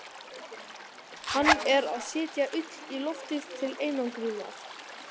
Hann er að setja ull í loftið til einangrunar.